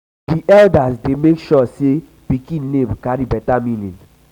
di eldas dey make sure sey pikin name carry beta meaning.